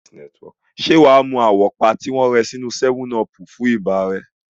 Ṣé o máa mu àwọ́pá tí wọ́n rẹ sínú 7 ọọ̀pù fún ibà rẹ?